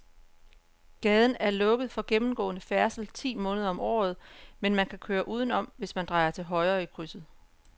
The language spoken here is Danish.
Gaden er lukket for gennemgående færdsel ti måneder om året, men man kan køre udenom, hvis man drejer til højre i krydset.